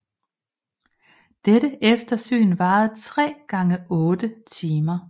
Dette eftersyn varer tre gange otte timer